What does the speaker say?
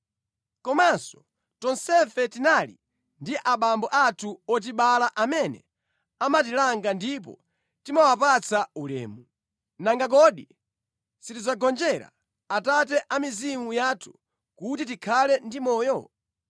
Komanso, tonsefe tinali ndi abambo athu otibala amene amatilanga ndipo timawapatsa ulemu. Nanga kodi sitidzagonjera Atate a mizimu yathu kuti tikhale ndi moyo?